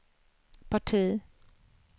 parti